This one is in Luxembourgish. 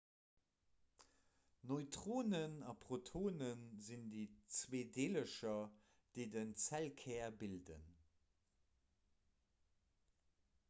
neutronen a protone sinn déi zwee deelercher déi den zellkär bilden